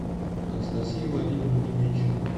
анастасии владимировне менщиковой